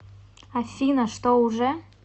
афина что уже